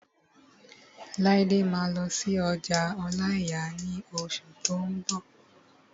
Laide máa lọ sí ọjà ọláìyà ní oṣù tó n bọ̀